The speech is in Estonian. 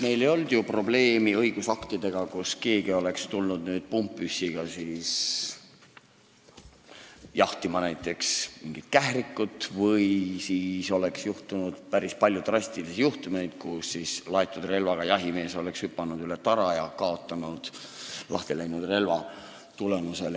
Meil ei ole olnud õigusaktidega probleeme selle koha pealt, et keegi oleks pumppüssiga jahtinud näiteks kährikut või meil oleks olnud palju drastilisi juhtumeid, kus laetud relvaga jahimees oleks hüpanud üle tara ja kaotanud lahtiläinud relva tõttu jala.